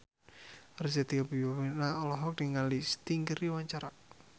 Arzetti Bilbina olohok ningali Sting keur diwawancara